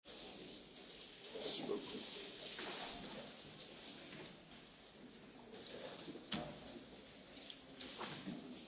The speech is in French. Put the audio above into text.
Monsieur le Président de la République, soyez le bienvenu au Parlement européen.